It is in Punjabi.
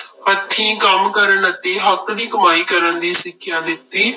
ਹੱਥੀਂ ਕੰਮ ਕਰਨ ਅਤੇ ਹੱਕ ਦੀ ਕਮਾਈ ਕਰਨ ਦੀ ਸਿੱਖਿਆ ਦਿੱਤੀ।